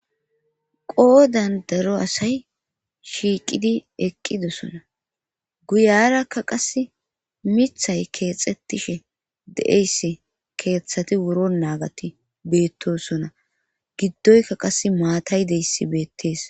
Qoo dandaro asay shiiqidi eqqidosona guyarakka qas mithay keexxetishe de'eyss keeththati wuro naagati beettosona giddoyka qas maatay deyssi beettees.